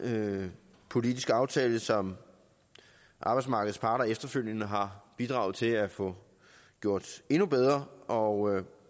politisk aftale som arbejdsmarkedets parter efterfølgende har bidraget til at få gjort endnu bedre og